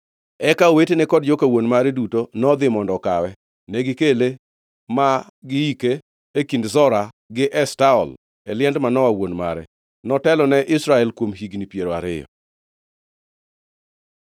Eka owetene kod joka wuon mare duto nodhi mondo okawe. Negikele ma gi hike e kind Zora gi Eshtaol e liend Manoa wuon mare. Notelo ne Israel kuom higni piero ariyo.